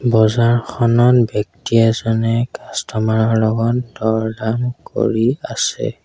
বজাৰখনত ব্যক্তি এজনে কাষ্টমৰ ৰ লগত দৰ দাম কৰি আছে।